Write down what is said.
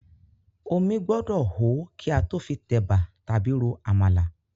Omí gbọ́dọ̀ hó kí a tó fi tẹ̀bà tàbí ro àmàlà.